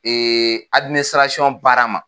Ee adiminisirasɔn baara ma